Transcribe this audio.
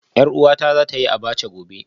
Yar uwata za ta yi Abacha gobe